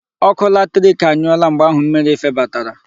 Ọkụ latrik anyụọla mgbe ahụ mmiri febatara.